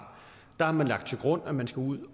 har lagt til grund at man skal ud